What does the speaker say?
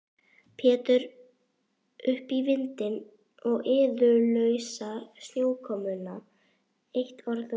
Pétur upp í vindinn og iðulausa snjókomuna, eitt orð og